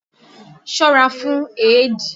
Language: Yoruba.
Ṣọ́ra fún éèdì!